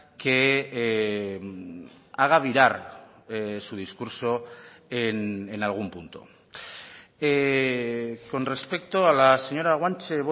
que haga virar su discurso en algún punto con respecto a la señora guanche